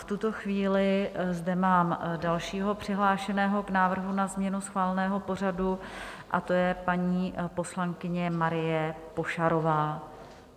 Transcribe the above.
V tuto chvíli zde mám dalšího přihlášeného k návrhu na změnu schváleného pořadu, a to je paní poslankyně Marie Pošarová.